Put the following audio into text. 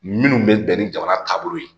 Minnu bɛ bɛn ni jamana taabolo ye